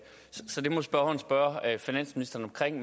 finansministeren